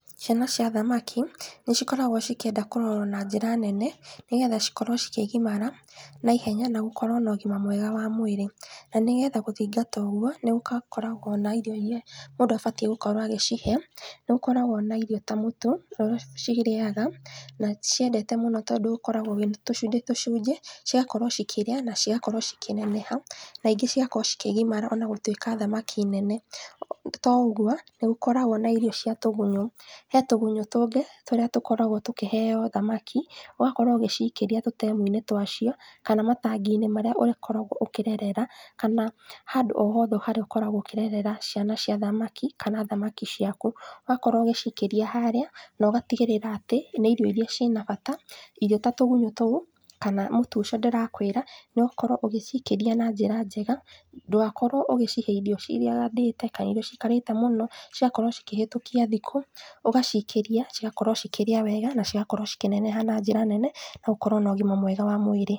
Ciana cia thamaki nĩcikoragwo cikĩenda kũrorwo na njĩra nene nĩgetha cikorwo cikĩgimara naihenya na gũkorwo na ũgima mwega wa mwĩrĩ, na nĩgetha gũthingata ũguo, nĩũgakoragwo na irio iria mũndũ abatiĩ gũkorwo agĩcihe, nĩgũkoragwo na irio ta mũtu ũrĩa cirĩaga na nĩciendete mũno tondũ ũkoragwo wĩ tũcunjĩ tũcunjĩ cigakorwo cikĩrĩa na cigakorwo cikĩneneha naingĩ cigakorwo cikĩneneha onagũkorwo thamaki nene toũguo nĩgũkoragwo na irio cia tũgunyũ he tũgunyú tũngĩ tũrĩa tũkoragwo tũkĩheo thamaki ũgakorwo ũgĩcikĩria tũtemu-inĩ twacio kana matangi-inĩ marĩa ũkoragwo ũkĩrerera kana handũ o hothe harĩa ũkoragwo ũkĩrerera ciana cia thamaki kana thamaki ciaku ũgakorwo ũgĩcikĩria harĩa nogatigĩrĩra atĩ nĩ irio iria ciĩna bata irio ta tũgunyũ tũu kana mũtu ũcio ndĩrakwĩra nokorwo ũgĩcikĩria na njĩra njega, ndũgakorwo ũgĩcihe irio ciragandĩte kana irio ciikarĩte mũno cigakorwo cikĩhĩtũkia thikũ, ugacikĩria cigakorwo cikĩrĩa wega na cigakorwo cikĩneneha na njĩra nene nagũkorwo na ũgima mwega wa mwĩrĩ.